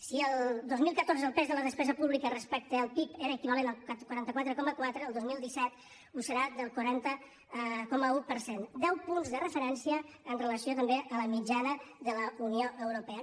si el dos mil catorze el pes de la despesa pública respecte al pib era equivalent al quaranta quatre coma quatre el dos mil disset ho serà al quaranta coma un per cent deu punts de referència amb relació també a la mitjana de la unió europea